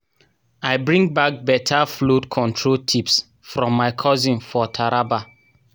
i bring bak beta flood control tips from my cousin for taraba